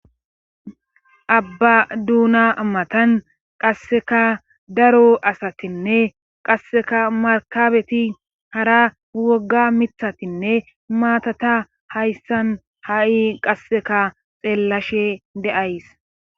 Abba duuna ammatan qasseka daro asatinne qasseka markabeti hara wogga mithatinne maatata hayssan ha7i qasseka xeellashe deays.